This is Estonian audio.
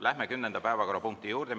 Läheme 10. päevakorrapunkti juurde.